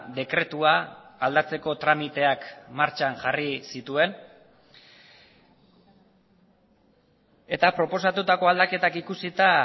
dekretua aldatzeko tramiteak martxan jarri zituen eta proposatutako aldaketak ikusita